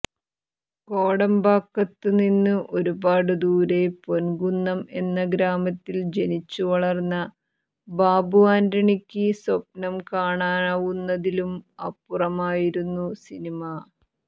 കോടമ്പാക്കത്തു നിന്ന് ഒരുപാടു ദൂരെ പൊൻകുന്നം എന്ന ഗ്രാമത്തിൽ ജനിച്ചു വളർന്ന ബാബു ആന്റണിക്ക് സ്വപ്നം കാണാവുന്നതിലും അപ്പുറമായിരുന്നു സിനിമ